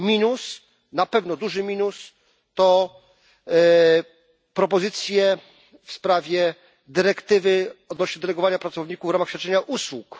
Minus, na pewno duży minus, to propozycje w sprawie dyrektywy odnoście do delegowania pracowników w ramach świadczenia usług.